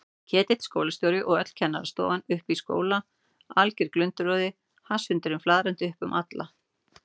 Ketill skólastjóri og öll kennarastofan uppi í skóla, alger glundroði, hasshundurinn flaðrandi upp um alla.